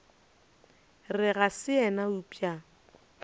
re ga se yena eupša